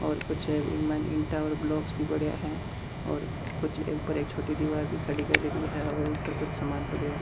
और कुछ इसमें इट्टा और ब्लॉक्स भी पडया है और कुछ छोटी दिवार भी खड़ी करेड़ी है और ऊपर कुछ सामान पड़े है।